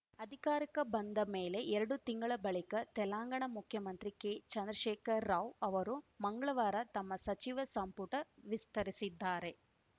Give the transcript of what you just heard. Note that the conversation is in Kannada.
ಅಧಿಕಾರಕ್ಕೆ ಬಂದು ಎರಡು ತಿಂಗಳ ಬಳಿಕ ತೆಲಂಗಾಣ ಮುಖ್ಯಮಂತ್ರಿ ಕೆ ಚಂದ್ರಶೇಖರ್‌ ರಾವ್‌ ಅವರು ಮಂಗ್ಳವಾರ ತಮ್ಮ ಸಚಿವ ಸಂಪುಟ ವಿಸ್ತರಿಸಿದ್ದಾರೆ